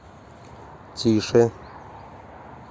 тише